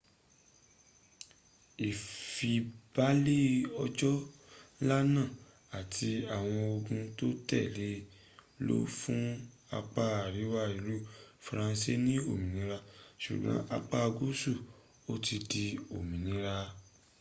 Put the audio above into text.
ìfibalè ọjọ́ nla náà àti àwọn ogun tó tèle e lọ fún apá àríwá ìlú faransé ní òmìnira súgbọn apá gúúsù ò tìí di òmìnira